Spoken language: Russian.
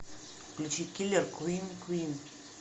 включи киллер квин квин